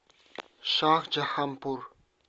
шахджаханпур